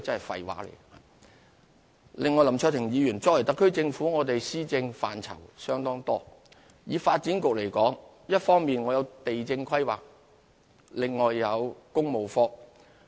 此外，林卓廷議員，特區政府的施政範疇相當多，發展局一方面負責地政規劃，另外亦設有工務科。